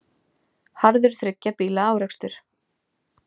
Harður þriggja bíla árekstur